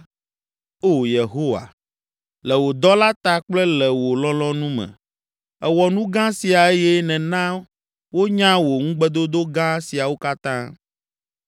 Oo Yehowa. Le wò dɔla ta kple le wò lɔlɔ̃nu me, èwɔ nu gã sia eye nèna wonya wò ŋugbedodo gã siawo katã.